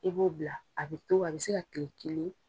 I b'o bila a bɛ to a bɛ se ka kile kelen.